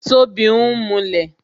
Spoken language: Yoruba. Tobi ń mulẹ̀